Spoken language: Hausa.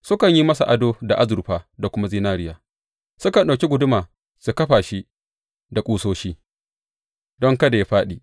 Sukan yi masa ado da azurfa da kuma zinariya; sukan ɗauki guduma su kafa shi da ƙusoshi, don kada yă fāɗi.